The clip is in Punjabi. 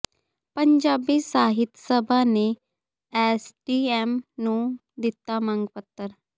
ਪੰਜਾਬੀ ਸਾਹਿਤ ਸਭਾ ਨੇ ਐੱਸਡੀਐੱਮ ਨੂੰ ਦਿੱਤਾ ਮੰਗ ਪੱਤਰ